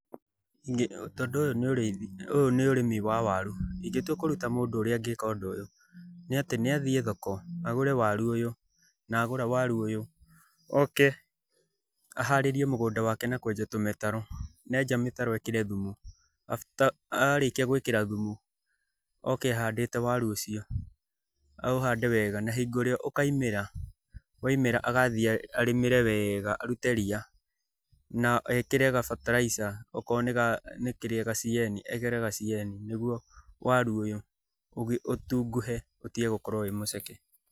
Ũyũ nĩ ũrĩmi wa waru, ingĩtua kũruta mũndũ ũrĩa angĩka ũndũ ũyũ, nĩ atĩ nĩ athiĩ thoko, agũre waru ũyũ, na agũra waru ũyũ oke aharĩrie mugũnda wake na kũenja tũmĩtaro, na enja mĩtaro ekĩre thumu after arĩkia gũĩkĩra thumu, oke ahandĩte waru ũcio. Aũhande wega na hingo ĩrĩa ũkaimĩra, waimĩra agathiĩ arĩmĩre wega, arute ria na ekĩre gabataraica okorwo nĩ kĩrĩa ga CAN, ekĩre ga CAN nĩguo waru ũyũ ũtunguhe ũtige gũkorwo wĩ mũceke.